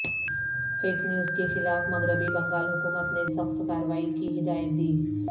fake news کے خلاف مغربی بنگال حکومت نے سخت کارروائی کی ہدایت دی